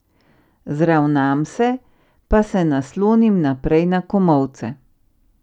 Zravnam se pa se naslonim naprej na komolce.